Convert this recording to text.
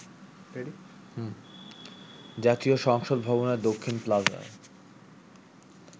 জাতীয় সংসদ ভবনের দক্ষিণ প্লাজায়